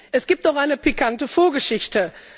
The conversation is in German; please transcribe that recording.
Es gibt auch eine pikante Vorgeschichte.